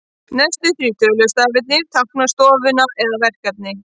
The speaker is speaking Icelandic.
Næstu þrír tölustafirnir tákna stofnun eða verkefni.